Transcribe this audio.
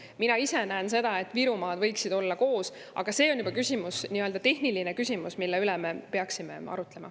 Mina ise näen, et Virumaad võiksid olla koos, aga see on juba nii‑öelda tehniline küsimus, mille üle me peaksime arutlema.